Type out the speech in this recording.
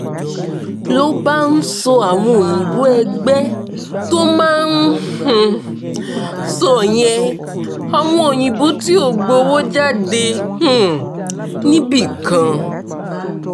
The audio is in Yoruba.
ló bá ń sọ àwọn òyìnbó ẹgbẹ́ tó máa um ń sọ yẹn àwọn òyìnbó tí ó gbowó jáde um níbì kan